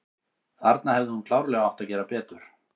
Þarna hefði hún klárlega átt að gera betur.